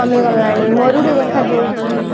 କମିଗଲାଣି ମରୁଡି ଦେଖା ଯାଉଛି